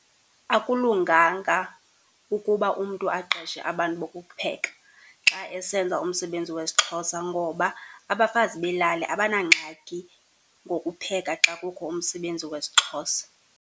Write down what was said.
Akulunganga ukuba umntu aqeshe abantu bokupheka xa esenza umsebenzi wesiXhosa ngoba abafazi belali abanangxaki ngokupheka xa kukho umsebenzi wesiXhosa.